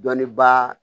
Dɔnniba